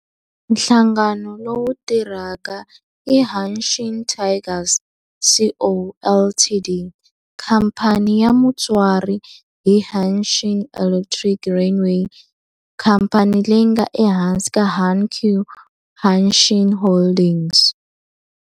Nhlangano lowu tirhaka i Hanshin Tigers Co., Ltd. Khamphani ya mutswari i Hanshin Electric Railway, khamphani leyi nga ehansi ka Hankyu Hanshin Holdings.